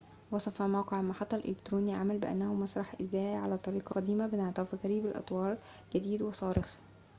وصف موقع المحطّة الإلكتروني العمل بأنه مسرح إذاعي على الطريقة القديمة بانعطاف غريب الأطوار جديد وصارخ